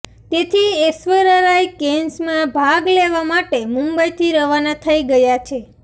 તેથી ઐશ્વર્યા રાય કૅન્સમાં ભાગ લેવા માટે મુંબઈથી રવાના થઈ ગયાં છે